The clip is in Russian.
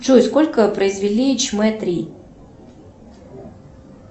джой сколько произвели чмэ три